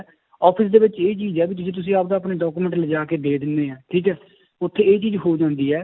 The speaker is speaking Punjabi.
office ਦੇ ਵਿੱਚ ਇਹ ਚੀਜ਼ ਹੈ ਵੀ ਜੇ ਤੁਸੀਂ ਆਪਦਾ ਆਪਣੇ document ਲਜਾ ਕੇ ਦੇ ਦਿੰਦੇ ਹੈ ਠੀਕ ਹੈ ਉੱਥੇ ਇਹ ਚੀਜ਼ ਹੋ ਜਾਂਦੀ ਹੈ